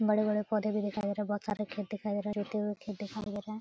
बड़े-बड़े पौधे भी दिखाई दे रहें हैं। बहुत सारे खेत दिखाई दे रहें हैं। जूते हुए खेत दिखाई दे रहें हैं।